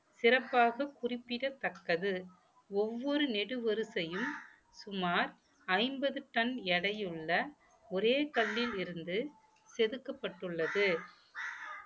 சிறப்பாக குறிப்பிடத்தக்கது ஒவ்வொரு நெடு வரிசையில் சுமார் ஐம்பது டன் எடையுள்ள ஒரே கல்லில் இருந்து செதுக்கப்பட்டுள்ளது